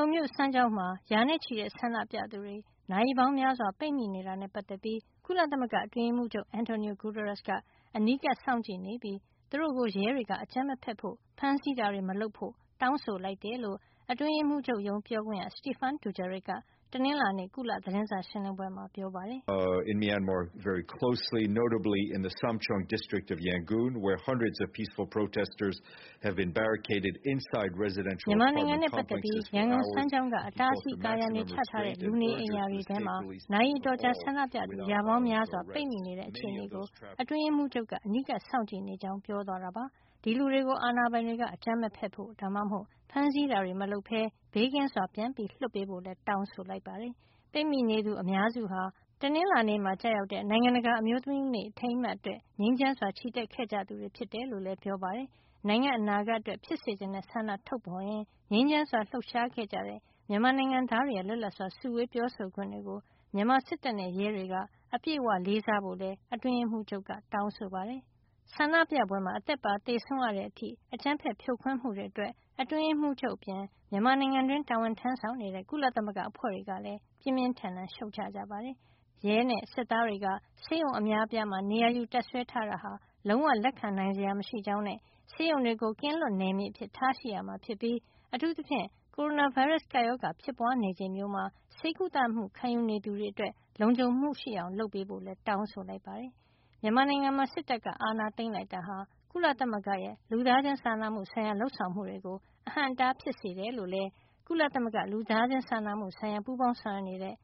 ုန်မြို့ စမ်းချောင်းမှာ ရာနဲ့ချီတဲ့ ဆန္ဒပြသူတွေ နာရီပေါင်းများစွာ ပိတ်မိနေတာနဲ့ ပတ်သက်ပြီး ကုလသမဂ္ဂ အတွင်းရေးမှူးချုပ် Antonio Guterres က အနီးကပ်စောင့်ကြည့်နေပြီး သူတို့ကို ရဲတွေက အကြမ်းမဖက်ဖို့၊ ဖမ်းးဆီးတာတွေ မလုပ်ဖို့ တောင်းဆိုလိုက်တယ်လို့ အတွင်းရေးမှုးချုပ်ရုံး ပြောခွင့်ရ Stephane Dujarric က တနင်္လာနေ့ သတင်းစာရှင်းလင်းပွဲမှာ ပြောပါတယ်။ “မြန်မာနိုင်ငံနဲ့ ပတ်သက်ပြီး ရန်ကုန်စမ်းချောင်းက အတားအဆီးအကာအရံတွေ ချထားတဲ့ လူနေအိမ်ယာတွေအထဲမှာ နာရီအတော်ကြာ ဆန္ဒပြသူ ရာပေါင်းများစွာပိတ်မိနေတဲ့ အခြေနေကို အတွင်းရေးမှုးချုပ်က အနီးကပ်စောင့်ကြည့်နေကြောင်း ပြောသွားတာပါ။ ဒီလူတွေကို အာဏာပိုင်တွေက အကြမ်းမဖက်ဖို့ ဒါမှမဟုတ် ဖမ်းဆီးတာတွေ မလုပ်ပဲ ဘေးကင်းစွာ ပြန်လွှတ်ပေးဖို့ လည်း တောင်းဆိုလိုက်ပါတယ်။” ပိတ်မိနေသူ အများစုဟာ မတ်လ ၈ ရက် တနင်္လာနေ့မှာ ကျရောက်တဲ့ နိုင်ငံတကာ အမျိုးသမီးနေ့အထိန်းအမှတ် အတွက် ငြိမ်းချမ်းစွာချီတက်ခဲ့ကြ သူတွေဖြစ်တယ်လို့လည်း ပြောပါတယ်။ နိုင်ငံ့အနာဂတ်အတွက်ဖြစ်စေချင်တဲ့ ဆန္ဒထုတ်ဖေါ်ရင်း ငြိမ်းချမ်းစွာလှုပ်ရှား ခဲ့ကြတဲ့ မြန်မာနိုင်ငံသားတွေရဲ့ လွတ်လပ်စွာစုဝေးခွင့် ပြောဆိုခွင့်တွေကို မြန်မာစစ်တပ်နဲ့ ရဲတွေက အပြည့်အဝ လေးစားကြဖို့လည်း အတွင်းရေးမှုးချုပ်က တောင်းဆိုပါတယ်။ ငြိမ်းချမ်းစွာ ဆန္ဒပြသူတွေကို အသက်ပါသေဆုံးရတဲ့အထိ အကြမ်းဖက်ဖြိုခွဲမှုတွေအတွက် အတွင်းရေးမှုးချုပ်အပြင် မြန်မာနိုင်ငံတွင်းတာဝန်ထမ်းဆောင်နေကြတဲ့ ကုလသမဂ္ဂကအဖွဲ့တွေကလည်း ပြင်းပြင်းထန်ထန်ရှုတ်ချလိုက်ပါတယ်။ ဒါ့အပြင် ရဲနဲ့ စစ်သားတွေက ဆေးရုံအများအပြားမှာ နေရာယူတပ်စွဲထားတာဟာ လုံးဝလက်ခံနိုင်စရာမရှိကြောင်းနဲ့ ဆေးရုံတွေကို ကင်းလွတ်နယ်မြေအဖြစ် ထားရှိရမှာ ဖြစ်ပြီး အထူးသဖြင့် ကိုရိုနာဗိုင်းရပ်စ် ကမ္ဘာ့ကပ်ရောဂါဖြစ်ပွါးနေချိန်မျိးမှာ ဆေးကုသမှုခံယူနေသူတွေ လုံခြုံမှုရှိအောင် လုပ်ပေးဖို့လည်း တောင်းဆိုလိုက်ပါတယ်။ မြန်မာနိုင်ငံမှာ စစ်တပ်က အာဏာသိမ်းလိုက်တာဟာ ကုလသမဂ္ဂရဲ့ လူသားချင်းစာနာမှုဆိုင်ရာ လုပ်ဆောင်မှုတွေကို အဟန့်အတားဖြစ်စေကြောင်း လူသားချင်းစာနာမှုဆိုင်ရာ ပူးပေါင်းဆောင်ရွက်နေတဲ့